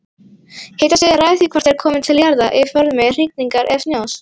Hitastigið ræður því hvort þeir komi til jarðar í formi rigningar eða snjós.